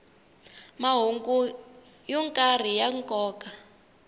mahungu yo karhi ya nkoka